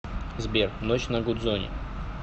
сбер ночь на гудзоне